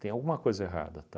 Tem alguma coisa errada, tá